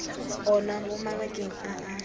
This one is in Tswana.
ona mo mabakeng a a